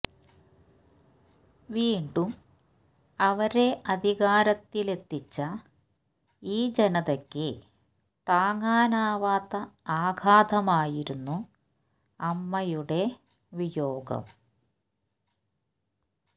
വീണ്ടും അവരെ അധികാരത്തിലെത്തിച്ച ഈ ജനതയ്ക്ക് താങ്ങാനാവാത്ത ആഘാതമായിരുന്നു അമ്മയുടെ വിയോഗം